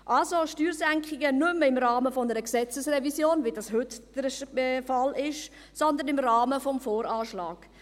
Also Steuersenkungen nicht mehr im Rahmen einer Gesetzesrevision, wie dies heute der Fall ist, sondern im Rahmen des VA.